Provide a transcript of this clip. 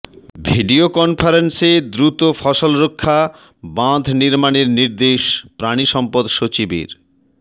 video কনফারেন্সে দ্রুত ফসলরক্ষা বাঁধ নির্মাণের নির্দেশ পানিসম্পদ সচিবের